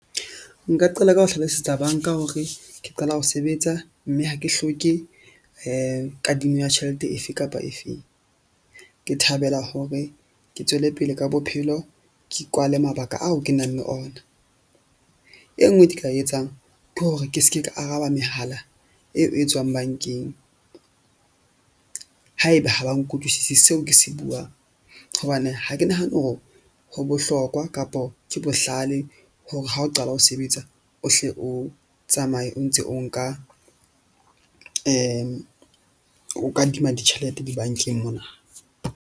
Nka qala ka ho hlalosetsa bank-a hore ke qala ho sebetsa, mme ha ke hloke kadimo ya tjhelete efe kapa efeng. Ke thabela hore ke tswele pele ka bophelo ke kwale mabaka ao ke nang le ona. E nngwe ke tla e etsang ke hore ke se ke ka araba mehala eo e tswang bank-eng. Haeba ha ba nkutlwisise seo ke se buang hobane ha ke nahane hore ho bohlokwa kapo ke bohlale hore ha o qala ho sebetsa, o hle o tsamaye o ntse o nka o kadima ditjhelete di-bank-eng mona.